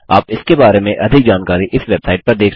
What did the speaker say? आप इसके बारे में अधिक जानकारी इस वेबसाइट पर देख सकते हैं